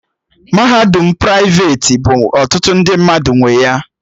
Mahadum praiveti bụ ọtụtụ ndị mmadụ nwe ya